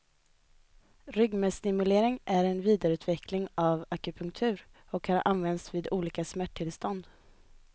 Ryggmärgstimulering är en vidareutveckling av akupunktur, och har använts vid olika smärttillstånd.